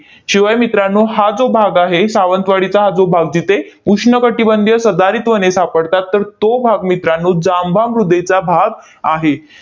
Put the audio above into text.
शिवाय मित्रांनो, हा जो भाग आहे, सावंतवाडीचा हा जो भाग जिथे उष्ण कटिबंधीय सदाहरित वने सापडतात, तर तो भाग मित्रांनो, जांभा मृदेचा भाग आहे.